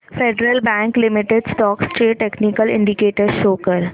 federal Bank Limited stocks चे technical indicators show कर